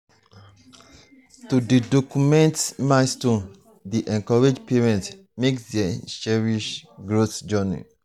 to dey document milestones dey encourage parents make dem cherish growth journey.